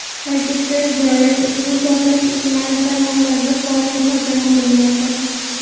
Ta’kidlash joiz, ushbu portlash ijtimoiy tarmoqlarda faol muhokama qilinmoqda .